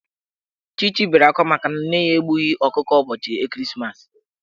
Chichi bere akwa makana nne ya egbughi ọkụkọ ụbọchị ekeresimeesi.